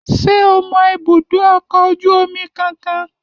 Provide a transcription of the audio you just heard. Ṣé o mọ ibùdó ọkọ̀ ojú omi kankan?